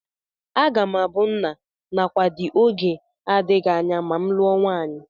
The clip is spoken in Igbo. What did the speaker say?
Aga m abụ nna nakwa di oge adịghị anya ma m lụọ nwaanyị